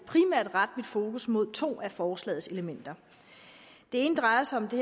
rette mit fokus mod to af forslagets elementer det ene drejer sig om det